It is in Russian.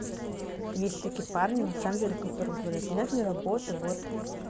есть такие парни на самом деле которые говорят нет не работай вот